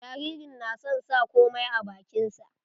Jaririn na son sa komai a bakin sa.